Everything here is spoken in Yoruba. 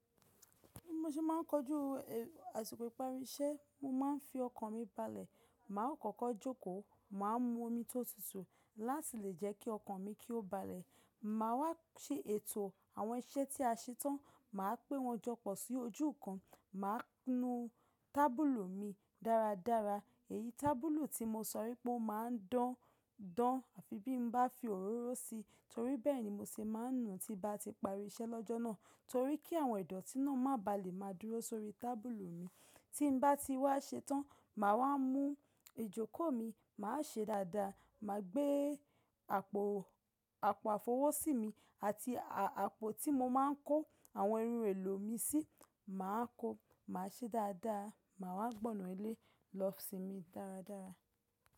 Bí mo ṣe máà ń kojú àsìkò ìparí iṣẹ́, mo máa ń fi ọkàn mi balẹ̀. Màá kọ́kọ́ jókòó, màá mu omi tó tutù láti lè jẹ́ kí ọkàn mi kí ó balẹ̀. Màá wá ṣe ètò àwọn iṣẹ́ tí a ṣe tán, màá pé wọn jọ pọ̀ sí ojú kan, màá nu tábùlù mi dáradára. Èyí tábùlù tí mo sọ wípé ó máa ń dán, dán bí n bá fi òróró si, torí bẹ́ẹ̀ ni mo ṣe máa ń nu tí bá ti parí iṣẹ́ lọ́jọ́ náà, torí kí àwọn idọ̀tí náà má bà lè má dúró sórí tábùlù mi. Tí n bá ti wá ṣe tán, màá wá mú ìjókòó mi, màá ṣe dáadáa, mà gbé àpò, àpò àfọwọ́sí mi àti àpò tí mo máa ń kó àwọn irun èlò mi sí, màá kó, màá ṣe dáadáa, mà wá gbọna ilé lọ sí mi dáradára.